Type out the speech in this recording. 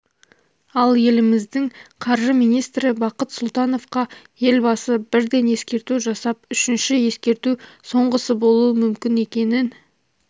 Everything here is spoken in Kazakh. ал еліміздің қаржы министрі бақыт сұлтановқа елбасы бірден ескерту жасап үшінші ескерту соңғысы болуы мүмкін екенін